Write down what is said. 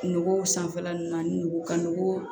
Nogow sanfɛla ninnu ani nogo ka nogo